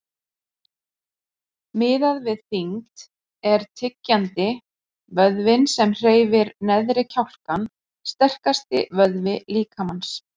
Miðað við þyngd er tyggjandi, vöðvinn sem hreyfir neðri kjálkann, sterkasti vöðvi líkamans.